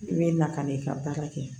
I bɛ na ka n'i ka baara kɛ